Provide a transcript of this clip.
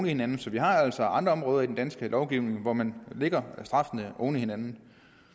hinanden så vi har altså andre områder i den danske lovgivning hvor man lægger straffene oven på hinanden